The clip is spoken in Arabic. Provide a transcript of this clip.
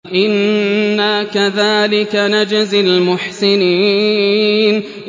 إِنَّا كَذَٰلِكَ نَجْزِي الْمُحْسِنِينَ